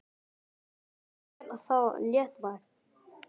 Finnst þér það léttvægt?